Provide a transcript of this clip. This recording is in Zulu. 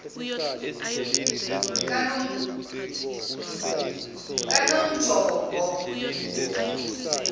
kanongjombo